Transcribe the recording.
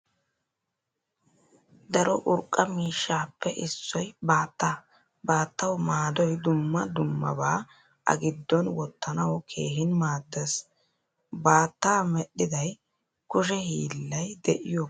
Daro urqqa miishshappe issoy baattaa. Baattaawu maadoy dumma dummaaba a giddon wottanawu keehin maadees. Baatta medhdhiday kushshe hiillay de'iyo kushe hiillanchchata.